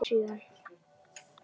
Varð þess oft vart síðan.